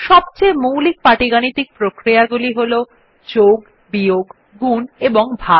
সবচেয়ে মৌলিক পাটীগাণিতিক প্রক্রিয়া গুলি হল যোগ বিয়োগ গুণ ও ভাগ